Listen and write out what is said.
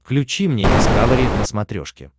включи мне дискавери на смотрешке